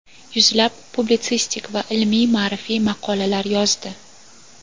yuzlab publitsistik va ilmiy-ma’rifiy maqolalar yozdi.